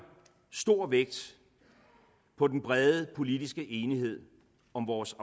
stor vægt på den brede politiske enighed om vores